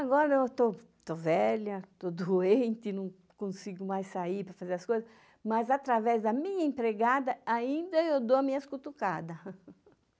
Agora eu estou estou velha, estou doente, não consigo mais sair para fazer as coisas, mas, através da minha empregada, ainda eu dou as minhas cutucadas.